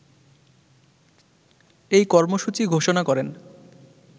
এই কর্মসূচি ঘোষণা করেন